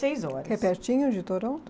horas. Que é pertinho de Toronto?